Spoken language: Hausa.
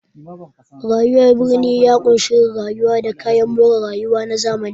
Rayuwar birni ya ƙunshi yin rayuwa da kayan more rayuwa na zamani.